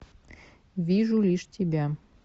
вижу лишь тебя